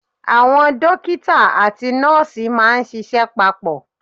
Àwọn Dókítà àti nọ́ọ̀sì máà ń ṣiṣẹ́ papọ̀.